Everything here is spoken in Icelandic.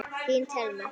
Þín Thelma.